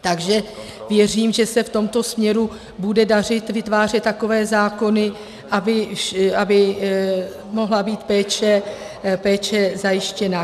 Takže věřím, že se v tomto směru bude dařit vytvářet takové zákony, aby mohla být péče zajištěna.